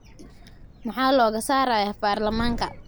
Maxaa looga saarayaa baarlamaanka.